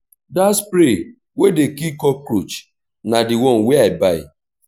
dat spray wey dey kill cockroach na di one wey i buy.